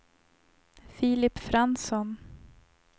Filip Fransson